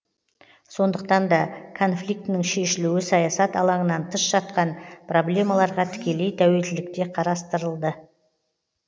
сондықтан да конфликтінің шешілуі саясат алаңынан тыс жатқан проблемаларға тікелей тәуелділікте қарастырылды